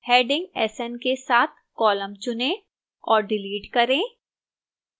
heading sn के साथ column चुनें और डिलीट करें